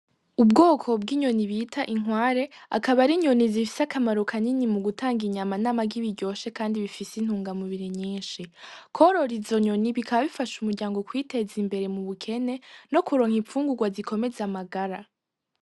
Ubwoko bw'inyoni bita inkware , akaba ar'inyoni zifise akamaro kanini mu gutanga inyama n'amagi biryoshe kandi bifise intunga mubiri nyinshi. Kworora izo nyoni bikaba bifasha umuryango kwiteza imbere mu bukene no kuronka imfungurwa zikomeza amagara.